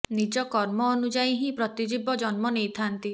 ନିଜ କର୍ମ ଅନୁଯାୟୀ ହିଁ ପ୍ରତି ଜୀବ ଜନ୍ମ ନେଇଥାନ୍ତି